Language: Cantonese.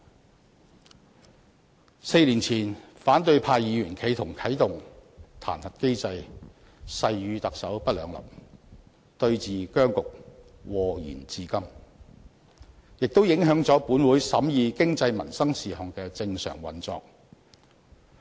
在4年前，反對派議員企圖啟動彈劾機制，誓與特首不兩立，對峙僵局禍延至今，也影響了本會審議經濟民生事項的正常運作。